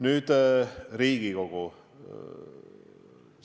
Nüüd Riigikogust.